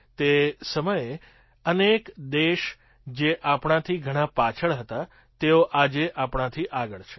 તે સમયે અનેક દેશ જે આપણાથી ઘણા પાછળ હતા તેઓ આજે આપણાથી આગળ છે